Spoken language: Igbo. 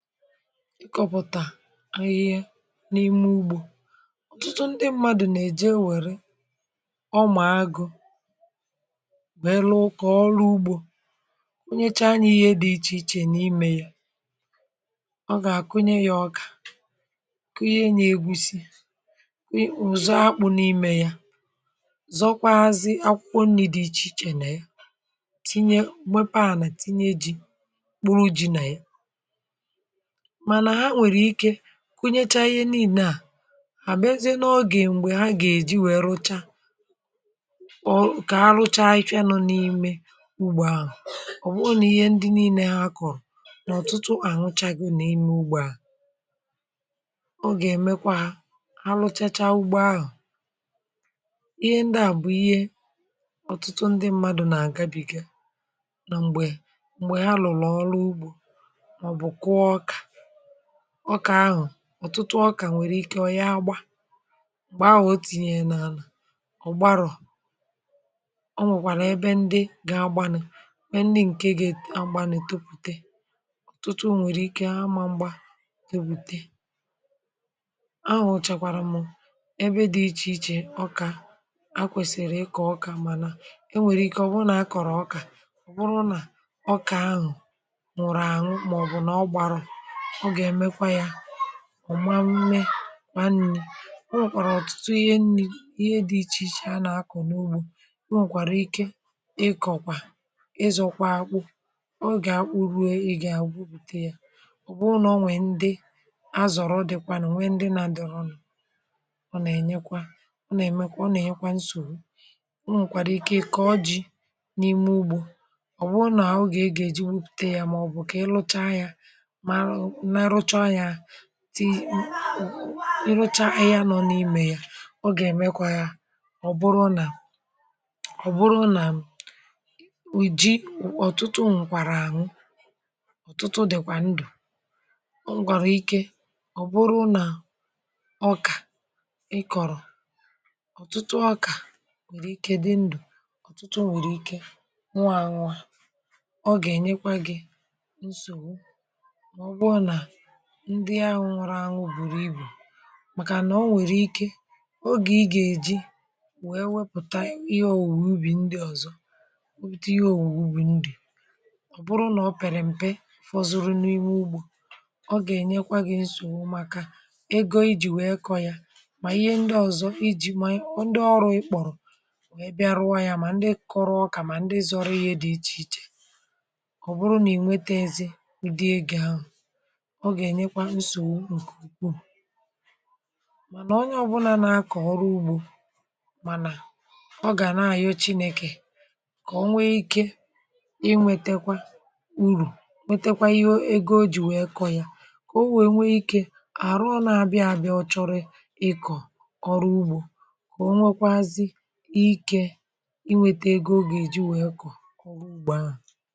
Ịkọpụ̀tà ahịhịa n’ime ugbȯ. Otụtụ ndị mmadù nà-èje ewère ọmà agụ, wèlu ukọ̀ ọlụ ugbȯ. Onyecha anyȧ ihe dị̇ iche iche n’imė ya, ọ gà-àkụnye ya ọkà, kunye ya egusi, kà ụzọ akpụ̇ n’imė ya. Zọkwazị akwụkwọ nri̇ dị̇ iche iche nà ya. Tinye, wepà, nà tinye ji, kpụrụ ji̇ nà yà. Mana ha nwere ike kunyechaa ihe nine à àbụ, e jé n’ọgè m̀gbè ha gà-èji wèe rụcha ọ, kà ha rụcha ichė nọ n’ime ugbȯ ahụ̀. Ọ̀ bụ̀ ọ nà ihe ndị niile ha akọ̀rọ̀ n’ọ̀tụtụ àwụcha go n’ime ugbȯ à. O gà-èmekwa ha rụchachaa ugbȯ ahụ̀. Ihe ndị à bụ̀ ihe ọ̀tụtụ ndị mmadụ̀ nà-àgabìgè nà m̀gbè m̀gbè ha lụ̀lọ̀ ọrụ ugbȯ màọ̀bụ̀ kụọ ọka. Ọkà ahụ̀, ọtụtụ ọkà nwere ike onye agba. Mgbe ahụ̀ o tìnye n’àlà, ọ̀ gbarọ̀. Ọ nwèkwàrà ebe ndị gị̇ agbanụ̀, nwe ndị ǹkè gị̀ agbanụ̀ topùte. Otụtụ nwèrè ike amagba topute. Ahụ̀ chàkwàrà mụ̇ ebe dị̇ iche iche okà, akwèsìrì ịkọ̇ ọkà, mana e nwèrè ike o bụrụ nà a kọ̀rọ̀ ọkà. Ọ bụrụ na ọkà ahụ̀ nụ̀rụ̀ àṅụ, màọbụ̀ nà ọ gbarọ̀ ọ. Ọ ga eme kwa ya kpa nni̇. O nwèkwàrà ọ̀tụtụ ihe nni, ihe dị̇ iche iche a nà-akụ̀ n’ugbȯ. O nwèkwàrà ike ịkọ̀kwà, ịzọ̇kwà akpụ, ọ gà-akpụ̇ruė, Ị gà-agwụpute yà. Ọ bụ n’onwè ndị, azọ̀rọ̀ ọ dịkwànù, nwee ndị nà-adọ̀rọ̀. Ọ nà-enyekwa, ọ nà-èmekwa, ọ nà-enyekwa nsògbu. O nwèkwàrà ike ịkà ọjị n’ime ugbȯ. Ọ bụ ọ nà-àogè a gà-èji wupùte ya, màọbụ̀ kà ị lụcha yȧ, di i, rụcha anya nọ n’imė yà. O gà-èmekwa ya ọ bụrụ nà, ọ bụrụ nà m Ji òtụtụ ǹkwàrà ànwụ, ọ̀tụtụ di̇kwà ndu̇. K gwàrà Ike, ọ̀ bụrụ nà ọkà ị kọ̀rọ̀. Ọtụtụ ọkà nwèrè ike di ndù, ọ̀tụtụ nwèrè ike nwà ànwà. Ọ gà-ènyekwa gi̇ nsogbu màọ̀bụ̀ na ndị ahụ̇ nwụrụ ahụ̇ bùrù ibù, màkànà ọ nwèrè ike ogè ị gà-èji, wee wepụ̀ta ihe òwùwò ubì ndị ọ̀zọ, wepụta ihe òwùwò ubì ndị. Ọ̀ bụrụ nà ọ pèrè m̀pe, fọzụrụ n’ime ugbȯ. Ọ̀ gà-ènyekwa gị̇ nsògbu maka ego ijì wee kọ ya. Mà ihe ndị ọ̀zọ iji̇, ma ọ, ndị ọrụ ikpọ̀rọ̀ ebe arụwa ya, mà ndị kọrụ ọkà, mà ndị zọrọ ihe dị iche iche. Ọ bụrụ nà ị nwete ezi ụdị egȯ ahụ̀, ọ gà-ènekwa nsògbu ǹkè ùgkù. Mànà onye ọ̀bụlà nȧ-ȧkọ̀ ọrụ ugbȯ, mànà ọ gà na-àyochi n’ekė, kà onwe ikė inwėtėkwȧ urù, metakwa ego o jì wèe kọ ya, kà o wèe nwee ikė à rụọ nȧ-abịa àbịa, ọchọrị ịkọ̀ ọrụ ugbȯ, kà o nwekwazị ikė inwėtė egȯ, ọ gà-èji wèe kọ̀ ọrụ ugbȯ ahụ̀.